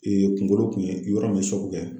kunkolo kun ye yɔrɔ min ye kɛ.